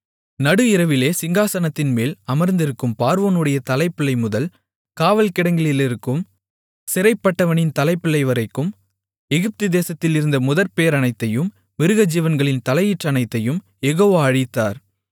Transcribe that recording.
நடுஇரவிலே சிங்காசனத்தின்மேல் அமர்ந்திருக்கும் பார்வோனுடைய தலைப்பிள்ளைமுதல் காவல் கிடங்கிலிருக்கும் சிறைப்பட்டவனின் தலைப்பிள்ளைவரைக்கும் எகிப்து தேசத்தில் இருந்த முதற்பேறனைத்தையும் மிருகஜீவன்களின் தலையீற்றனைத்தையும் யெகோவா அழித்தார்